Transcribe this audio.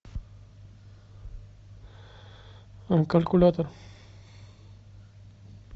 калькулятор